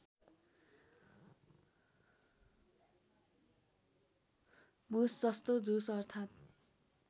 भुसजस्तो झुस अर्थात्